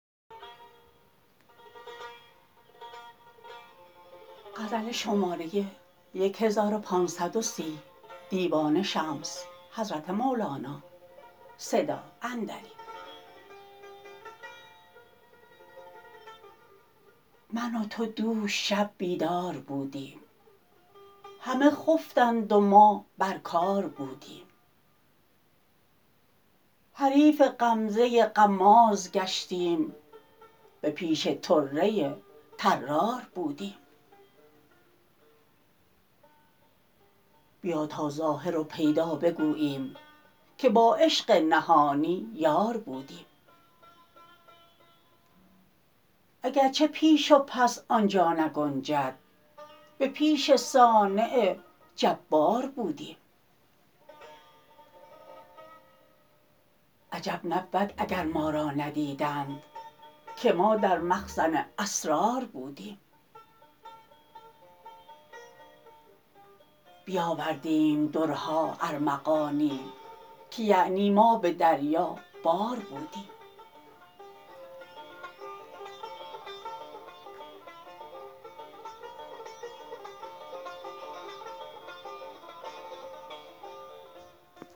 من و تو دوش شب بیدار بودیم همه خفتند و ما بر کار بودیم حریف غمزه غماز گشتیم به پیش طره طرار بودیم بیا تا ظاهر و پیدا بگوییم که با عشق نهانی یار بودیم اگر چه پیش و پس آن جا نگنجد به پیش صانع جبار بودیم عجب نبود اگر ما را ندیدند که ما در مخزن اسرار بودیم بیاوردیم درها ارمغانی که یعنی ما به دریابار بودیم